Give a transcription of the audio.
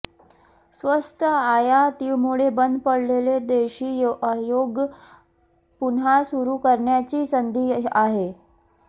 स्वस्त आयातीमुळे बंद पडलेले देशी उद्योग पुन्हा सुरू करण्याची ही संधी आहे